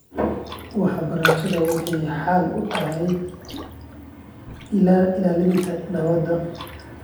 Waxbarashadu waxay xal u tahay ilaalinta nabadda .